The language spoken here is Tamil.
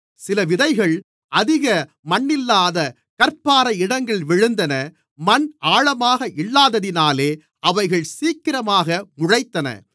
சில விதைகள் அதிக மண்ணில்லாத கற்பாறை இடங்களில் விழுந்தன மண் ஆழமாக இல்லாததினாலே அவைகள் சீக்கிரமாக முளைத்தன